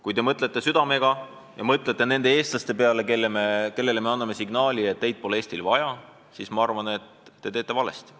Kui te mõtlete südamega, mõtlete nende eestlaste peale, kellele me anname signaali, et teid pole Eestil vaja, siis ma arvan, et see on vale.